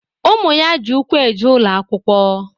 Ụmụ ya ji ụkwụ eje ụlọ akwụkwọ